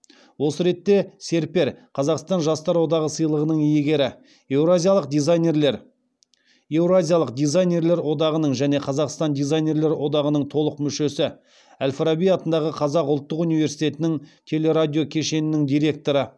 осы ретте серпер қазақстан жастар одағы сыйлығының иегері еуразиялық дизайнерлер одағының және қазақстан дизайнерлер одағының толық мүшесі әл фараби атындағы қазақ ұлттық университетінің телерадиокешенінің директоры